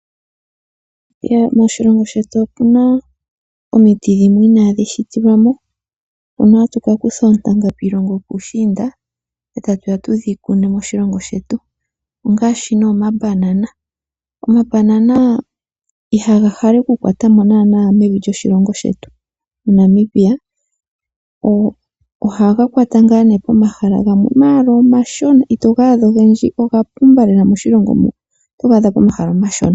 Moshilongo shetu omuna omiti dhimwe inadhi shitilwamo mono hatu ka kutha oontanga piilongo yopuushinda eta tuya tudhi kune moshilongo shetu, ongaashi nee omambanana. Omambanana iha ga hala oku kwatamo nana mevi lyoshilongo shetu moNamibia, ohaga kwata ngaa nee pomahala gamwe ashike omashona, itoga adha ogendji, oga pumba lela moshilongo muka, oto ga adha pomahala omashona.